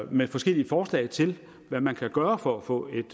med forskellige forslag til hvad man kan gøre for at få et